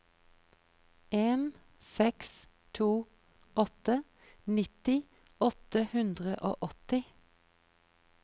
en seks to åtte nitti åtte hundre og åtti